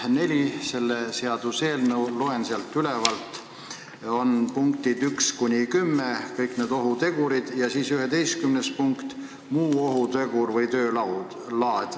Avades selle seaduseelnõu leheküljelt 4, loen sealt punkte 1–10, mis kõik loetlevad ohutegureid, ja siis 11. punkt on selline: muu ohutegur või töö laad.